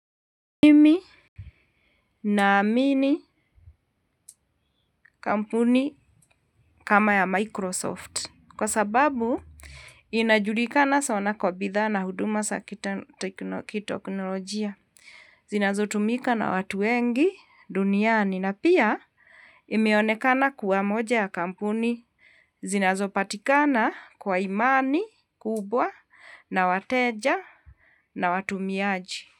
Mimi naamini kampuni kama ya Microsoft. Kwa sababu inajulikana sana kwa bidhaa na huduma za kiteknolojia. Zinazotumika na watu wengi duniani na pia imeonekana kuwa moja ya kampuni zinazopatikana kwa imani kubwa na wateja na watumiaji.